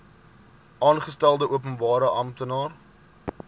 aangestelde openbare amptenaar